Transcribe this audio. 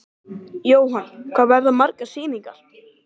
Jóhann: Hvað verða margar sýningar?